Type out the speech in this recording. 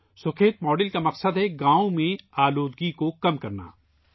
Sukhet model کا مقصد دیہات میں آلودگی کو کم کرنا ہے